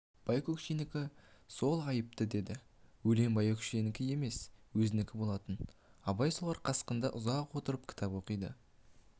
байкөкшенікі сол айтыпты деді өлең байкөкшенікі емес өзінікі болатын абай солар қасында ұзақ отырып кітап оқиды